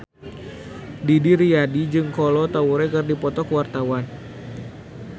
Didi Riyadi jeung Kolo Taure keur dipoto ku wartawan